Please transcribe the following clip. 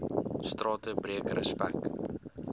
strate breek respek